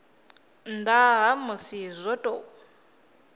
nnda ha musi zwo tou